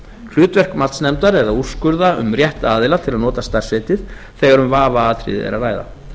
hlutverk matsnefndar er að úrskurða um rétt aðila til að nota starfsheitið þegar um vafaatriði er að ræða